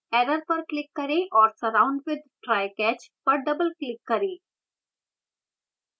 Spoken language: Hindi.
error पर click करें और surround with try/catch पर double click करें